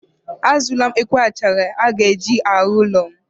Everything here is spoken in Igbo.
A zụọla m ekwe achara a ga-eji arụ ụlọ m.